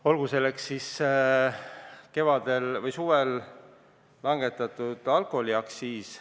Olgu näiteks toodud suvel langetatud alkoholiaktsiis.